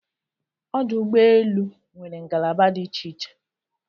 Ọdụ ụgbọ elu nwere ngalaba dị iche iche